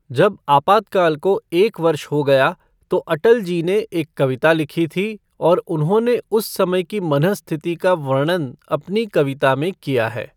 जब आपातकाल को एक वर्ष हो गया, तो अटल जी ने एक कविता लिखी थी और उन्होंने उस समय की मनःस्थिति का वर्णन अपनी कविता में किया है।